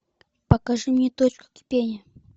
покажи мне точка кипения